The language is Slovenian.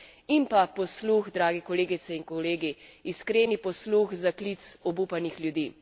In pa posluh, drage kolegice in kolegi, iskreni posluh za klic obupanih ljudi.